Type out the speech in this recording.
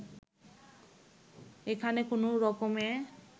এখানে কোনো রকমে